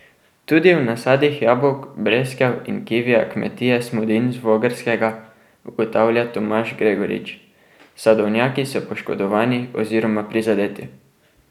Tudi v nasadih jabolk, breskev in kivija kmetije Smodin z Vogrskega, ugotavlja Tomaž Gregorič: "Sadovnjaki so poškodovani oziroma prizadeti.